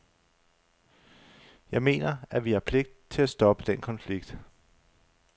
Jeg mener, at vi har pligt til at stoppe den konflikt.